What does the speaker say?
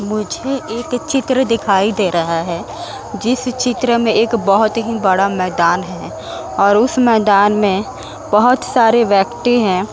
मुझे एक चित्र दिखाई दे रहा है जिस चित्र में एक बहोत ही बड़ा मैदान है और उस मैदान में बहोत सारे व्यक्ति हैं।